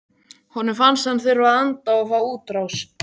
Honum fannst hann þurfa að anda og fá útrás.